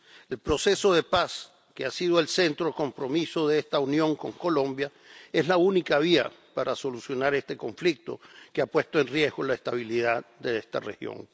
El proceso de paz, que ha sido el centro del compromiso de esta Unión con Colombia, es la única vía para solucionar este conflicto que ha puesto en riesgo la estabilidad de esta región.